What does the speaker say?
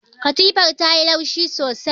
Katifar ta yi laushi sosai.